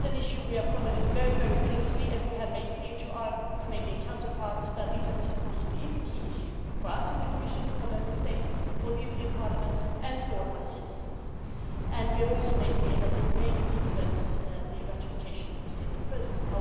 This is an issue we are following very, very closely and we have made clear to our Canadian counterparts that visa reciprocity is a key issue for us in the Commission, for Member States, for the European Parliament and for our citizens. We have also made clear that it may influence the ratification of the CETA process.